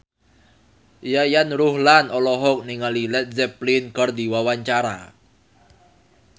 Yayan Ruhlan olohok ningali Led Zeppelin keur diwawancara